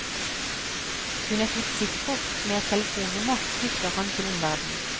Kun et visittkort med et telfonnummer knytter han til omverdenen.